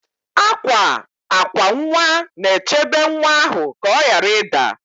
Akwa akwa nwa na-echebe nwa ahụ ka ọ ghara ịda